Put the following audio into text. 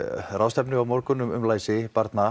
ráðstefnu á morgun um læsi barna